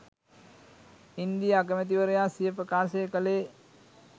ඉන්දීය අගමැති වරයා සිය ප්‍රකාශය කළේ